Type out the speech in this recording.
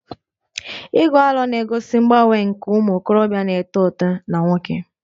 Igu aro 'na-egosi mgbanwe nke ụmụ okorobịa na-eto eto na nwoke